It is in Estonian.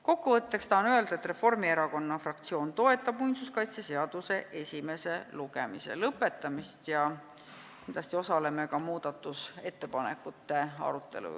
Kokkuvõtteks tahan öelda, et Reformierakonna fraktsioon toetab muinsuskaitseseaduse esimese lugemise lõpetamist ja kindlasti osaleme aktiivselt ka muudatusettepanekute arutelul.